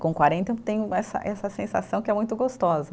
Com quarenta eu tenho essa essa sensação que é muito gostosa.